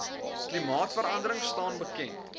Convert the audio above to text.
klimaatverandering staan bekend